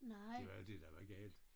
Det var det der var galt